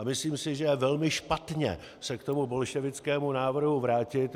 A myslím si, že je velmi špatně se k tomu bolševickému návrhu vrátit.